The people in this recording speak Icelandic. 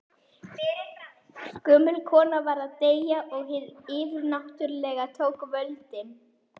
Gömul kona var að deyja og hið yfirnáttúrlega tók völdin.